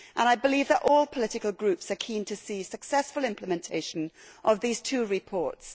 I believe that all political groups are keen to see successful implementation of these two reports.